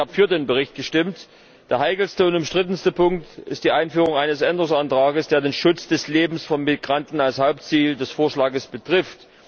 Ich habe für den Bericht gestimmt. Der heikelste und umstrittenste Punkt ist die Einführung eines Änderungsantrags, der den Schutz des Lebens von Migranten als Hauptziel des Vorschlags betrifft.